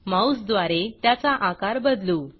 माऊसद्वारे त्याचा आकार बदलू